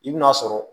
I bi n'a sɔrɔ